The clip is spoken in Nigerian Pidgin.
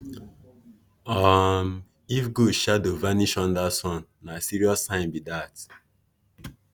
um if goat shadow vanish under sun na serious sign be dat.